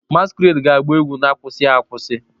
Masquerade ga-agba egwu na-akwụsịghị akwụsị